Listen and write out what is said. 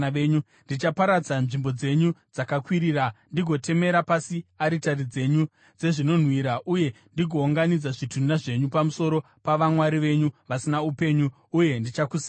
Ndichaparadza nzvimbo dzenyu dzakakwirira, ndigotemera pasi aritari dzenyu dzezvinonhuhwira uye ndigounganidza zvitunha zvenyu pamusoro pavamwari venyu vasina upenyu, uye ndichakusemai.